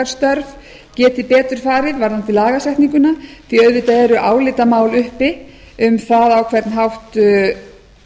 störf gætu betur farið varðandi lagasetninguna því auðvitað eru álitamál uppi um það á hvern hátt